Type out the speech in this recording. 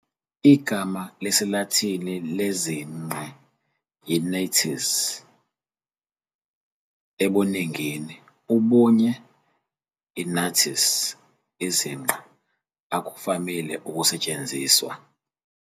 Igama lesiLatin lezinqe yi-nates, ebuningini, ubunye, i-natis, izinqa, akuvamile ukusetshenziswa.